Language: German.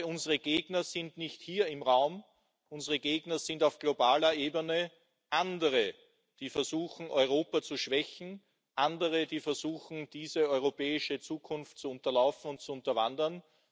Unsere Gegner sind nicht hier im Raum, unsere Gegner sind auf globaler Ebene andere, die versuchen, Europa zu schwächen, andere, die versuchen, diese europäische Zukunft zu unterlaufen und zu unterwandern.